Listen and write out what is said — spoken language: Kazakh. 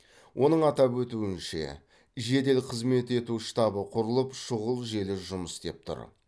оның атап өтуінше жедел қызмет ету штабы құрылып шұғыл желі жұмыс істеп тұр